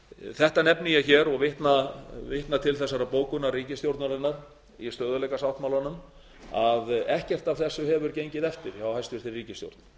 þetta nefni ég hér og vitna til þessarar bókunar ríkisstjórnarinnar í stöðugleikasáttmálanum að ekkert af þessu hefur gengið eftir hjá hæstvirtri ríkisstjórn